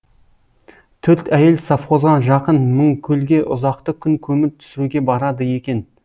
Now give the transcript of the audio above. төрт әйел совхозға жақын мыңкөлге ұзақты күн көмір түсіруге барады екен